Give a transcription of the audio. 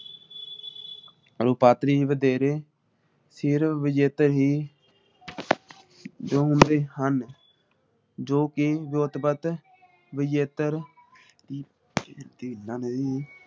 ਰੂਪਾਂਤਰੀ ਵਧੇਰੇ ਫਿਰ ਵਿਜੇਤਾ ਹੀ । ਜੋ ਹੁੰਦੇ ਹਨ ਜੋ ਕਿ ਰੁਤਬਤ ਵਿਜੇਤਰ